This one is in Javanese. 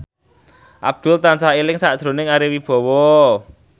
Abdul tansah eling sakjroning Ari Wibowo